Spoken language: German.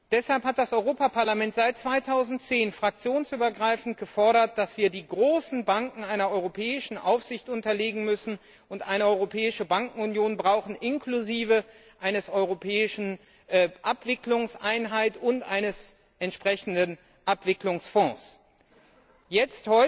Deshalb hat das Europaparlament seit 2010 fraktionsübergreifend gefordert, dass wir die großen Banken einer europäischen Aufsicht unterstellen müssen und eine Europäische Bankenunion inklusive einer europäischen Abwicklungseinheit und eines entsprechenden Abwicklungsfonds brauchen.